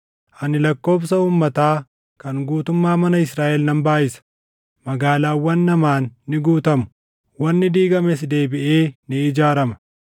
ani lakkoobsa uummataa kan guutummaa mana Israaʼel nan baayʼisa. Magaalaawwan namaan ni guutamu; wanni diigames deebiʼee ni ijaarama.